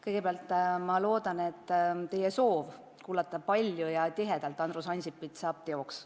Kõigepealt ma loodan, et teie soov kuulata palju ja sageli Andrus Ansipit saab teoks.